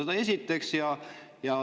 Seda esiteks.